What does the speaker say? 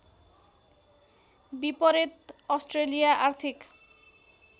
विपरीत अस्ट्रेलिया आर्थिक